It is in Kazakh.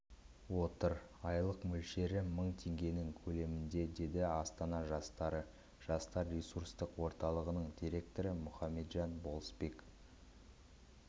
отыр айлық мөлшері мың теңгенің көлемінде деді астана жастары жастар ресурстық орталығының директоры мұхамеджан болысбек